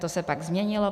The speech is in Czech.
To se pak změnilo.